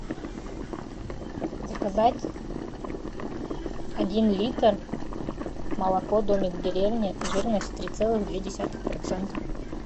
заказать один литр молоко домик в деревне жирность три целых две десятых процента